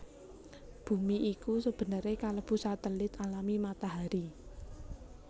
Bumi iku sebenere kelebu satelit alami Matahari